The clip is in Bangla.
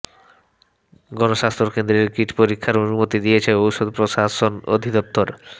গণস্বাস্থ্য কেন্দ্রের কিট পরীক্ষার অনুমতি দিয়েছে ঔষুধ প্রশাসন অধিদপ্তর